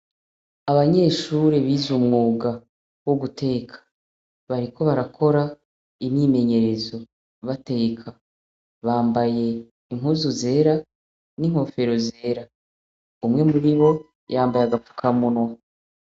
Abanyeshure biz’umwuga wo guteka , bariko barakora imyimenyerezo , bateka, bambaye impuzu zera, n’inkofero zera , umwe muribo, yambay’agafuka munwa.